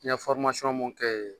N ye mun kɛ yen